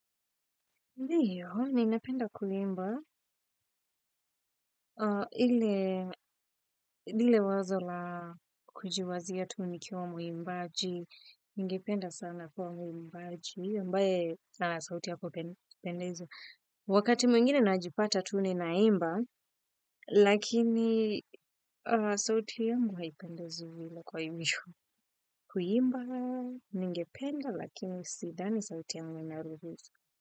Ndiyo, ni napenda kuhimba, hile wazo la kujiwazia tu nikiwa muimbaji, ningependa sana kuwa muimbaji, ambae sauti hapo pendeza. Wakati mungine najipata tuni na imba, lakini sauti yangu haipendezi vile kwa ivyo. Kuhimba, ningependa, lakini sidani sauti yangu inaruhusu.